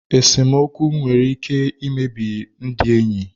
Esemokwu nwere ike imebi ndị enyi.